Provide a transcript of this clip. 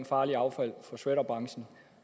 farligt affald fra shredderbranchen